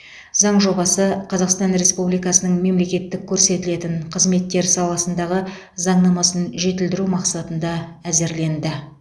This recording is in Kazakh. заң жобасы қазақстан республикасының мемлекеттік көрсетілетін қызметтер саласындағы заңнамасын жетілдіру мақсатында әзірленді